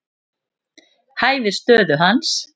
Hæfir stöðu hans.